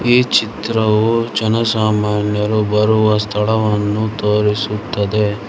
ಈ ಚಿತ್ರವು ಜನಸಾಮಾನ್ಯರು ಬರುವ ಸ್ಥಳವನ್ನು ತೋರಿಸುತ್ತದೆ.